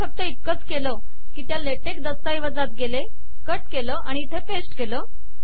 मी फक्त इतकेच केले की त्या ले टेक दस्तऐवजात गेले कट केले आणि ते इथे पेस्ट केले